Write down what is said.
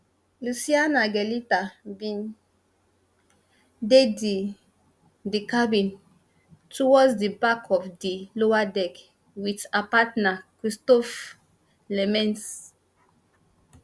lucianna galetta bin dey di di cabin towards di back of di lower deck wit her partner christophe lemmens